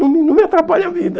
Não não me atrapalhe a vida.